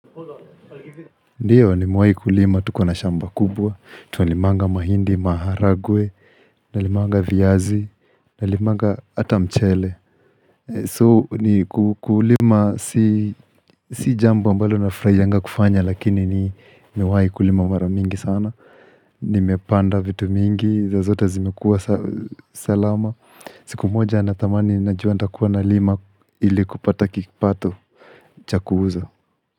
Ndiyo nimewahi kulima tukiwa na shamba kubwa, tunalimanga mahindi, maharagwe, nalimanga viazi, nalimanga hata mchele, so ni ku kulima si si jambo ambalo nafurahianga kufanya lakini nimewahi kulima mara mingi sana, nimepanda vitu mingi, na zote zimekuwa salama, siku moja na tamani najua nitakuwa nalima ili kupata kipato cha kuuza.